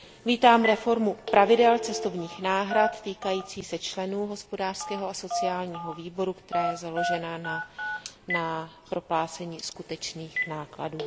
Vítám reformu pravidel cestovních náhrad týkající se členů Hospodářského a sociálního výboru, která je založena na proplácení skutečných nákladů.